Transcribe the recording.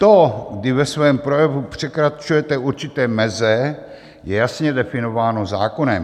To, kdy ve svém projevu překračujete určité meze, je jasně definováno zákonem.